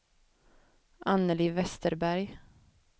Annelie Westerberg